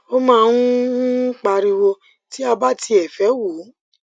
o máa ń ń pariwo ti a bá tiẹ fe wò